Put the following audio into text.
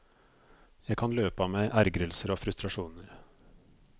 Jeg kan løpe av meg ergrelser og frustrasjoner.